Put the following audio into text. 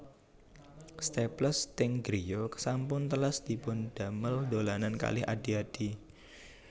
Staples teng griya sampun telas dipun damel dolanan kalih adhi adhi